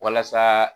Walasa